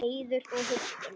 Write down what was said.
Heiður og huggun.